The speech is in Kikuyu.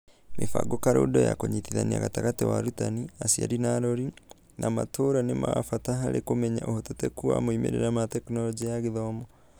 Mĩbango karũndo ya kũnyitithania gatagatĩ wa arutani, aciari na arori, na matũra nĩ wa bata harĩ kũmenya ũhotekeku wa moimĩrĩra ma Tekinoronjĩ ya Gĩthomo.